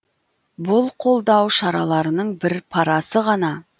бұл қолдау шараларының бір парасы ғана